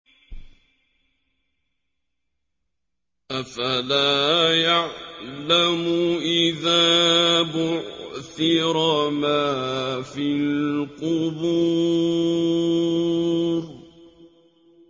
۞ أَفَلَا يَعْلَمُ إِذَا بُعْثِرَ مَا فِي الْقُبُورِ